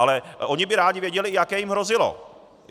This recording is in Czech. Ale oni by rádi věděli, jaké jim hrozilo.